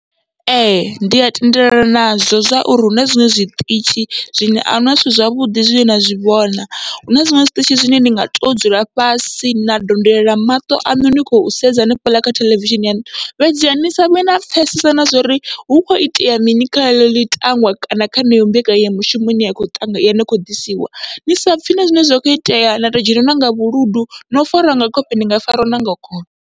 Ee ndi a tendelana nazwo zwauri huna zwiṅwe zwiṱitshi zwine ahuna zwithu zwavhuḓi zwine na zwi vhona, huna zwiṅwe zwiṱitshi zwine ndi nga to dzula fhasi na donolela maṱo aṋu ni khou sedza hanefhaḽa kha theḽevishini yaṋu, fhedziha ni savhe na pfhesesa na zwori hu kho itea mini kha ḽeḽo ḽitangwa kana kha heneyo mbekanyamushumo ine ya kho ḓisiwa ni sapfhi na zwine zwa kho itea na to dzhenwa nanga vhuludu no farwa nga khofhe ni nga fariwa nga khofhe.